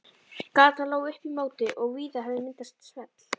Gatan lá upp í móti og víða hafði myndast svell.